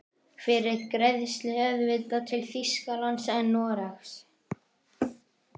Fyrir greiðslu auðvitað, til Þýskalands eða Noregs?